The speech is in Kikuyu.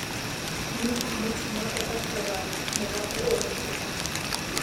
Nick Mutuma athakaga mũthako ũrikũ